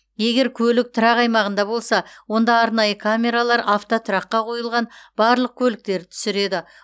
егер көлік тұрақ аймағында болса онда арнайы камералар автотұраққа қойылған барлық көліктерді түсіреді